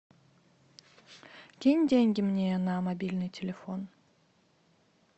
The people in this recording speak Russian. кинь деньги мне на мобильный телефон